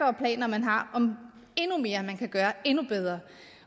og planer man har om endnu mere man kan gøre endnu bedre